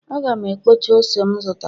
Aga m ekpocha ose m zụtara